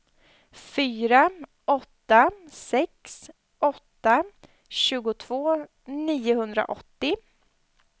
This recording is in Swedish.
fyra åtta sex åtta tjugotvå niohundraåttio